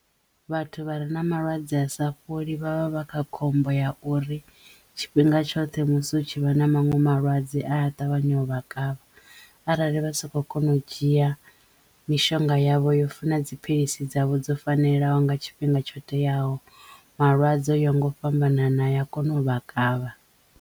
Vhathu vha re na malwadze a sa fholi vha vha vha kha khombo ya uri tshifhinga tshoṱhe musi u tshi vha na maṅwe malwadze aya ṱavhanya u vha kavha arali vha soko kono u dzhia mishonga yavho yo funa dziphilisi dzavho dzo fanelaho nga tshifhinga tsho teyaho malwadze oya nga u fhambanana a ya kona u vha kavha.